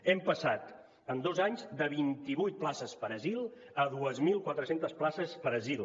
hem passat en dos anys de vint i vuit places per asil a dos mil quatre cents places per asil